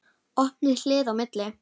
Opið hlið á milli.